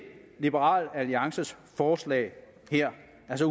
liberal alliances forslag her